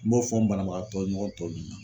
N b'o fɔ n banabagatɔ ɲɔgɔn tɔw ye.